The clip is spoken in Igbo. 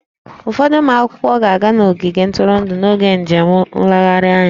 Ụfọdụ ụmụ akwụkwọ ga-aga n'ogige ntụrụndụ n'oge njem nlegharị anya